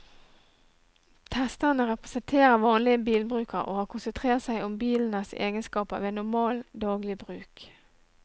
Testerne representerer vanlige bilbrukere, og har konsentrert seg om bilenes egenskaper ved normal, daglig bruk.